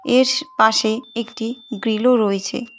S পাশে একটি গ্রিলও রয়েছে।